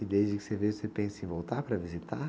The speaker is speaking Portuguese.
E desde que você veio, você pensa em voltar para visitar?